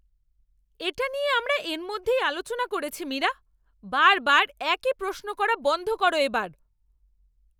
এটা নিয়ে আমরা এর মধ্যেই আলোচনা করেছি মীরা! বারবার একই প্রশ্ন করা বন্ধ করো এবার।